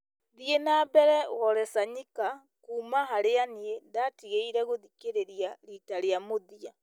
thiĩ na mbere wole soyinka kuuma harĩa niĩ ndatigire gũthikĩrĩria riita rĩa mũthia